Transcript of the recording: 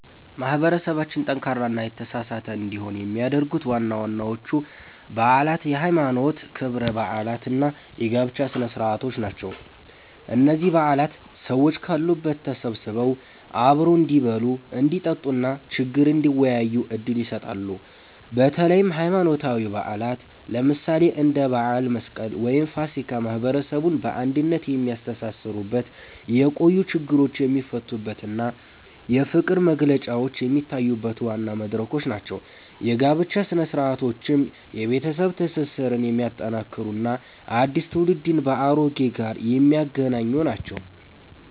ማህበረሰባችን ጠንካራና የተሳሰረ እንዲሆን የሚያደርጉት ዋናዎቹ በዓላት የሃይማኖት ክብረ በዓላት እና የጋብቻ ስነ-ስርዓቶች ናቸው። እነዚህ በዓላት ሰዎች ካሉበት ተሰብስበው አብረው እንዲበሉ፣ እንዲጠጡ እና ችግር እንዲወያዩ ዕድል ይሰጣሉ። በተለይም ሃይማኖታዊ በዓላት፣ ለምሳሌ እንደ በዓለ መስቀል ወይም ፋሲካ፣ ማህበረሰቡን በአንድነት የሚያስተሳስሩበት፣ የቆዩ ችግሮች የሚፈቱበት እና የፍቅር መግለጫዎች የሚታዩበት ዋና መድረኮች ናቸው። የጋብቻ ሥነ-ስርዓቶችም የቤተሰብ ትስስርን የሚያጠናክሩ እና አዲስ ትውልድን ከአሮጌው ጋር የሚያገናኙ ናቸው።